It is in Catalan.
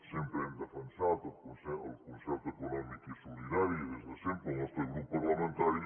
sempre hem defensat el concert econòmic i solidari des de sempre el nostre grup parlamentari